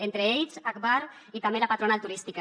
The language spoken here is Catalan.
entre ells agbar i també la patronal turística